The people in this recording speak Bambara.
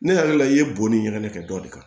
Ne yɛrɛ la i ye bonni ɲɛgɛn kɛ dɔ de kan